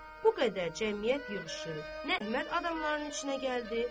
Bu qədər cəmiyyət yığışıb, nə adamların içinə gəldi.